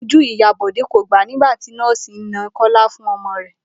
Ojú ìyá Bò̩dé kò gbàá nígbà tí nó̩ò̩sì náà ń ko̩là fún o̩mo̩ rè̩